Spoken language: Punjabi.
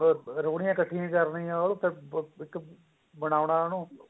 ਰੋੜੀਆਂ ਇੱਕਠੀਆਂ ਕਰ ਲਈਆਂ ਉਹ ਇੱਕ ਬਣਾਉਣਾ ਉਹਨੂੰ